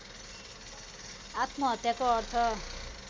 आत्महत्याको अर्थ